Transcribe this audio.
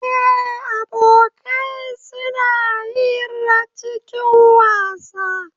Eh, abokai suna hira cikin wasa